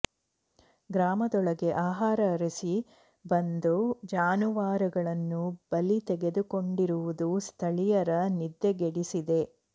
ಗ್ರಾಮದೊಳಗೆ ಆಹಾರ ಅರಸಿ ಬಂದು ಜಾನುವಾರಗಳನ್ನು ಬಲಿ ತೆಗೆದುಕೊಂಡಿರುವುದು ಸ್ಥಳೀಯರ ನಿದ್ದೆಗೆಡಿಸಿದೆ